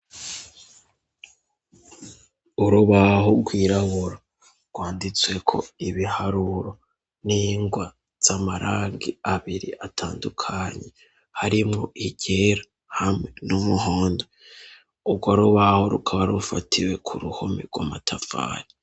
Urubaho rwirabura rwanditsweko ibiharuro n'ingwa z'amarangi abiri atandukanye, harimwo iryera, hamwe n'umuhondo. Urwo rubaho rukaba rufatiwe ku ruhome rw'amatafari.